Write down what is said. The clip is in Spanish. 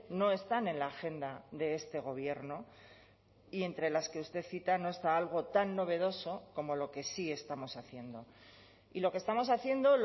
no están en la agenda de este gobierno y entre las que usted cita no está algo tan novedoso como lo que sí estamos haciendo y lo que estamos haciendo